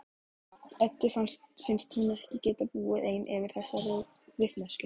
Eddu finnst hún ekki geta búið ein yfir þessari vitneskju.